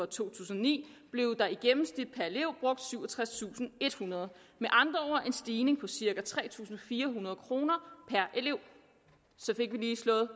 tusind og ni blev der i gennemsnit brugt syvogtredstusinde og ethundrede med andre ord en stigning på cirka tre tusind fire hundrede kroner per elev så fik vi lige slået